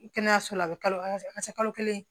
Kɛnɛyaso la a bɛ kalo se kalo kelen